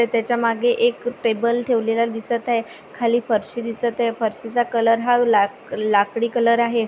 त्याच्यामागे एक टेबल ठेवलेला दिसत आहे खाली फरशी दिसत आहे फरशीचा कलर हा लाकडी दिसत आहे.